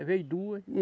Às vezes duas.